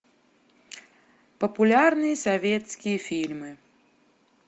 популярные советские фильмы